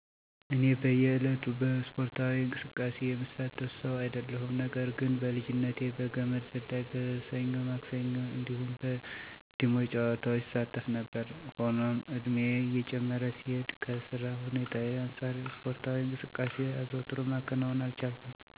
እኔ በእየ ዕለቱ በእስፖርታዊ እንቅስቃሴ የምሳተፍ ሰው አይደለሁም። ነገር ግን በልጅነቴ በገመድ ዝላይ፣ በሰኞ ማክሰኞ እንዲሁም በ ዲሞ ጨዋታዎች እሳተፍ ነበር። ሆኖም እድሜየ እየጨመረ ሲሄድ ከ ስራ ሁኔታየ አንጻር እስፖርታዊ እንቅስቃሴ አዘውትሮ ማከናወን አልቻልኩም። ነገር ግን እረጅም መንገድ ወክ በማድረግ እንዲሁም አጋጣሚዉን ሳገኝ ዋና መዋኘት፣ ገመድ መዝለል፣ ሴት አፕ መስራት እስከ አሁን የማደርጋቸው እስፖርዊ እንቅስቃሴዎች ናቸው።